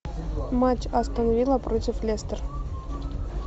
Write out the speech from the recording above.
матч астон вилла против лестер